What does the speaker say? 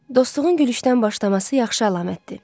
Dostluğun gülüşdən başlaması yaxşı əlamətdir.